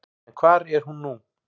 En hvar er hún nú?